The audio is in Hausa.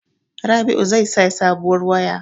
Rabi'u zai saya sabuwar waya.